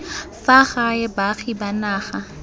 fa gae baagi ba naga